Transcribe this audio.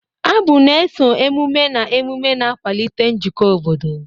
Abụ na-eso emume na emume, na-akwalite njikọ obodo.